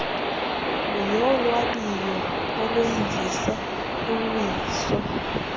yolwabiwo olwenziwo luwiso